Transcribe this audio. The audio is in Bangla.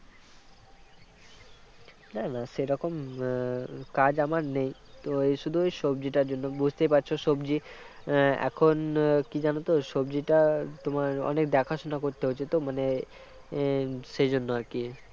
না না সেরকম উম কাজ আমার নেই তো শুধু ওই সবজিটার জন্য বুঝতেই পারছ সবজি এখন কী যেন তো সবজিটা তোমার অনেক দেখাশোনা করতে হচ্ছে তো মানে সেইজন্য আর কি